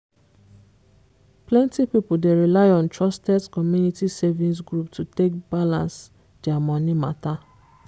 plenty people dey rely on trusted community savings group to take balance their money matter.